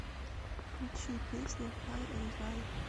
включи песня хай энд драй